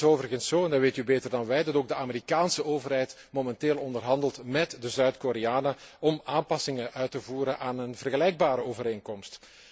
Het is overigens zo, en dat weet u beter dan wij, dat ook de Amerikaanse overheid momenteel onderhandelt met de Zuid Koreanen om aanpassingen uit te voeren aan een vergelijkbare overeenkomst.